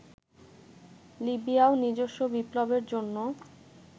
লিবিয়াও নিজস্ব বিপ্লবের জন্য